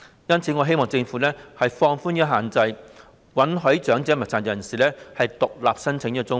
因此，我希望政府能放寬限制，允許長者及殘疾人士獨立申請綜援。